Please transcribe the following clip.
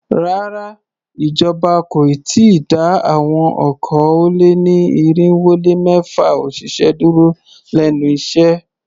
Rárá, ìjọba kò ì tíì dá àwọn okòó-lé-ní-irínwó-lé-mẹ́fà òṣìṣẹ́ dúró lénu iṣẹ́.